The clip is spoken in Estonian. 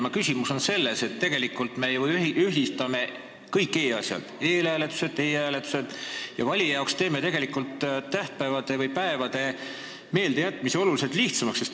Minu küsimus on aga selles, et tegelikult me ju ühitame kõik e-asjad, eelhääletused ja e-hääletused, ja teeme valijale tegelikult päevade meeldejätmise oluliselt lihtsamaks.